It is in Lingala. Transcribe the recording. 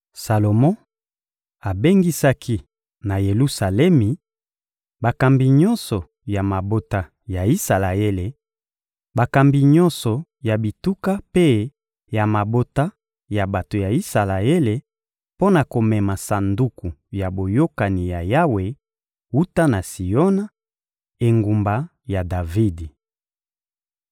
Salomo abengisaki, na Yelusalemi, bakambi nyonso ya mabota ya Isalaele, bakambi nyonso ya bituka mpe ya mabota ya bato ya Isalaele mpo na komema Sanduku ya Boyokani ya Yawe wuta na Siona, engumba ya Davidi.